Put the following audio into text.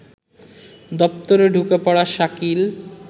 দপ্তরে ঢুকে পড়া শাকিল